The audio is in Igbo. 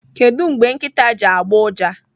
Kedụ mgbe nkịta ji agbụ ụja?